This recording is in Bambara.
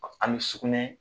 Ani sugunɛ